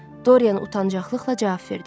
Dorian utancaqılıqla cavab verdi.